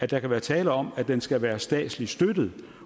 der kan være tale om at den skal være statsligt støttet